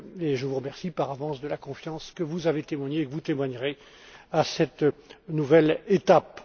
Je vous remercie par avance de la confiance que vous avez témoignée et que vous témoignerez à cette nouvelle étape.